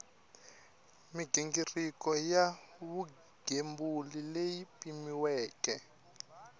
mighingiriko ya vugembuli leyi pimiweke